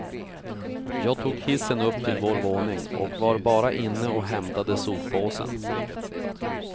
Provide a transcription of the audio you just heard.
Jag tog hissen upp till vår våning och var bara inne och hämtade soppåsen.